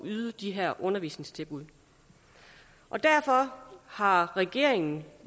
yde de her undervisningstilbud derfor har regeringen